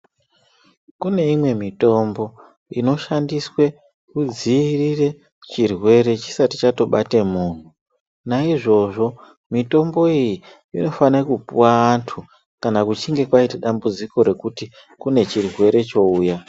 Kune imwe mitombo inoshandiswe kudzirire chirwere chisati chatobate muntu. Naizvozvo mitombo iyi inofane kupuva antu kana kuchinge kwaita dambudziko rekuti kune chirere chouya.